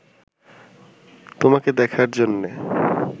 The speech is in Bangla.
তোমাকে দেখার জন্যে